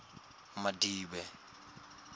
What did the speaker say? madibe